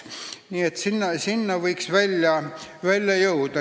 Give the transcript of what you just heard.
Nii et sinna võiks välja jõuda.